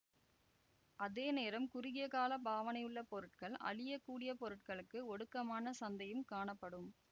அதே நேரம் குறுகியகால பாவனையுள்ள பொருட்கள் அழியக்கூடிய பொருட்களுக்கு ஒடுக்கமான சந்தையும் காணப்படும்